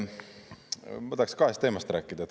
Ma tahaks kahest teemast rääkida.